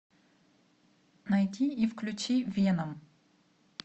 найди и включи веном